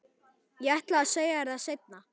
Ég ætlaði að segja þér það seinna.